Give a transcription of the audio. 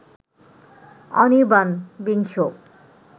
অনির্বাণ বিংশ